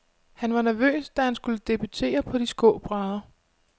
Han var nervøs, da han skulle debutere på de skrå brædder.